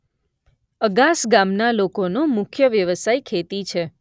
અગાસ ગામના લોકોનો મુખ્ય વ્યવસાય ખેતી છે.